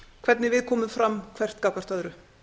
hvernig við komum fram hvert gagnvart öðru